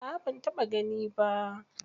A'a ban taɓa gani ba.